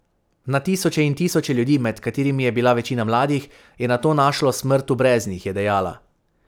Na tisoče in tisoče ljudi, med katerimi je bila večina mladih, je nato našlo smrt v breznih, je dejala.